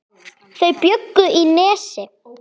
Þau bjuggu í Nesi.